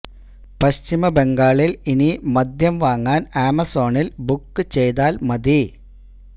പശ്ചിമ ബംഗാളില് ഇനി മദ്യം വാങ്ങാന് ആമസോണില് ബുക്ക് ചെയ്താല് മതി